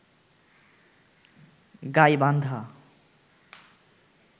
Gaibandha